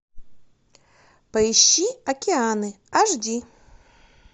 поищи океаны аш ди